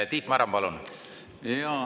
Tiit Maran, palun!